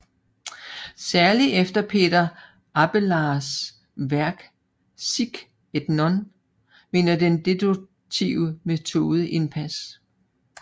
Særligt efter Peter Abelards værk Sic et non vinder den deduktive metode indpas